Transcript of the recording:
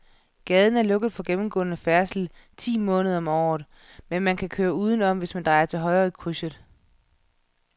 Gaden er lukket for gennemgående færdsel ti måneder om året, men man kan køre udenom, hvis man drejer til højre i krydset.